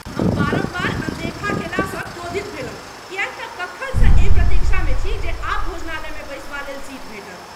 हम बारम्बार अनदेखार केला सँ क्रोधित भेलहुं किये त कखनसँ एहि प्रतीक्षामे छी जे आब भोजनालय मे बैसबालेल सीट भेटत।